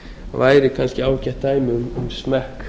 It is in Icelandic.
væri kannski ágætt dæmi um smekk